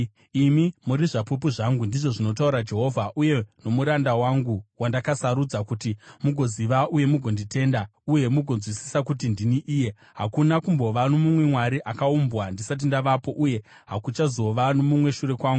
“Imi muri zvapupu zvangu,” ndizvo zvinotaura Jehovha, “uye nomuranda wangu wandakasarudza, kuti mugoziva uye mugonditenda uye mugonzwisisa kuti ndini iye. Hakuna kumbova nomumwe mwari akaumbwa ndisati ndavapo, uye hakuchazova nomumwe shure kwangu.